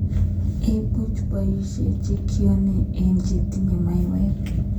Imuch iboishe chekiune eunek chetinye maiywek.